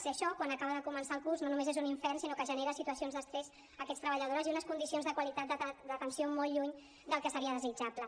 i això quan acaba de començar el curs no només és un infern sinó que genera situacions d’estrès a aquestes treballadores i unes condicions de qualitat d’atenció molt lluny del que seria desitjable